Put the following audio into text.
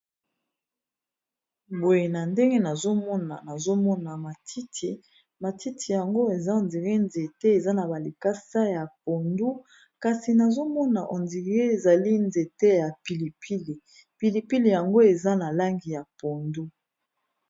Boye na ndenge nazomona matiti matiti yango eza ondiri nzete eza na balikasa ya pondu kasi nazomona ondire ezali nzete ya pilipili pilipile yango eza na langi ya pondu